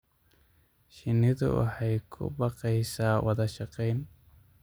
Shinnidu waxay ku baaqaysaa wada shaqayn.